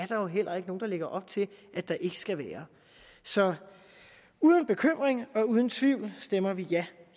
jo heller ikke nogen der lægger op til at der ikke skal være så uden bekymring og uden tvivl stemmer vi ja